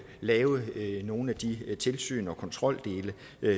lave nogle af de tilsyn og kontroldele